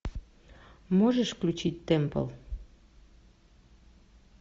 можешь включить темпл